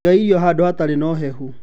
Iga irio handũ hatarĩ na ũhehu.